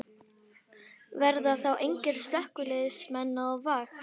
Verða þá engir slökkviliðsmenn á vakt?